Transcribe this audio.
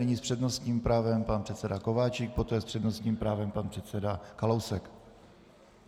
Nyní s přednostním právem pan předseda Kováčik, poté s přednostním právem pan předseda Kalousek.